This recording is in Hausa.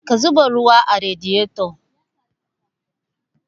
Ka zuba ruwa a radiyeto